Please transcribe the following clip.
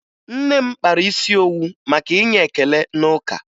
Nne m kpara isi owu maka inye ekele n'ụka